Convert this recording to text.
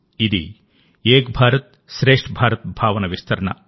ఇది ఏక్ భారత్శ్రేష్ఠ భారత్ భావన విస్తరణ